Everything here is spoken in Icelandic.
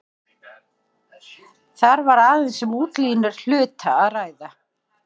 Þar var aðeins um útlínur hluta að ræða.